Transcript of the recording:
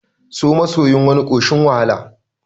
So masoyin wani ƙoshin wahala